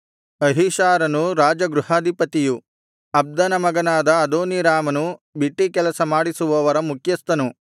ಅಹೀಷಾರನು ರಾಜಗೃಹಾಧಿಪತಿಯು ಅಬ್ದನ ಮಗನಾದ ಅದೋನೀರಾಮನು ಬಿಟ್ಟೀಕೆಲಸ ಮಾಡಿಸುವವರ ಮುಖ್ಯಸ್ಥನು